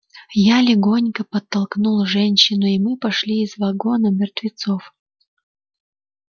я легонько подтолкнул женщину и мы пошли из вагона мертвецов